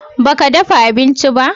ba ka dafa abinci ba?